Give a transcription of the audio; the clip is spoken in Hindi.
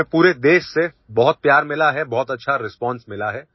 हमें पूरे देश से बहुत प्यार मिला है बहुत अच्छा रिस्पांस मिला है